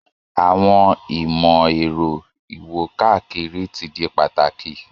Àwọn ìmò-èro iwo-kakiri ti di pataki